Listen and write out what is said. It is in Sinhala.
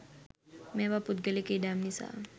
මේවා පුද්ගලික ඉඩම් නිසා